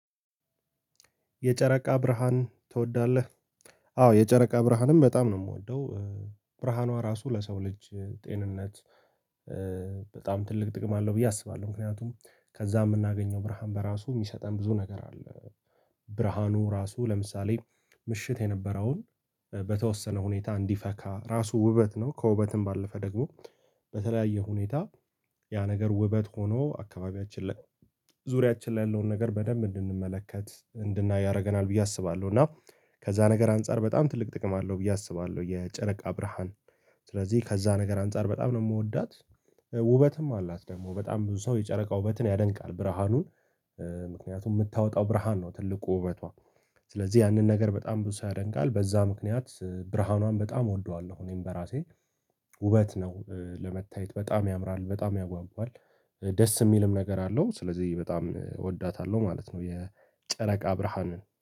የጨረቃ ብርሃን ትወዳለህ? አዎ የጨረቃ ብርሃንም በጣም ነው የምወደው። ብርሃኗ ራሱ ለሰው ልጅ ጤንነት በጣም ትልቅ ጥቅም አለው ብዬ አስባለሁ ምክንያቱም ከዚያ የምናገኘው ብርሃን በራሱ የሚሰጠን ብዙ ነገር አለ። ብርሃኑ ራሱ ለምሳሌ ምሽት የነበረውን በተወሰነ ሁኔታ እንዲፈካ ራሱ ውበት ነው ከውበትም ባለፈ ደግሞ በተለያየ ሁኔታ ያ ነገር ውበት ሆኖ አካባቢያችን ላይ ዙሪያችን ላይ ያለውን ነገር በደንብ እንድንመለከት እንድናይ ያደርገናል ብዬ አስባለሁ እና ከዚያ ነገር አንፃር በጣም ትልቅ ጥቅም አለው ብዬ አስባለሁ። የጨረቃ ብራሃን ስለዚህ ከዚያ ነገር አንፃር በጣም ነው የምወዳት። ውበትም አላት ደግሞ በጣም ብዙ ሰው የጨረቃ ውበትን ያደንቃል ብርሃኑን ምክንያቱም የምታወጣው ብርሃን ነው ትልቁ ውበቷ ስለዚህ ያንን ነገር በጣም ብዙ ሰው ያደንቃል በዛ ምክንያት ብርሃኗን በጣም እወደዋለሁ። እኔም በራሴ ውበት ነው ለመታየት በጣም ያምራል በጣም ያጓጕል ደስ የሚልም ነገር አለው ስለዚህ በጣም እወዳታለሁ ማለት ነው። የጨረቃ ብርሃንን